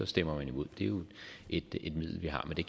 stemmer man imod det er jo et middel vi har men det